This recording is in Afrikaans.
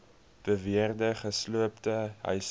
beweerde gesloopte huise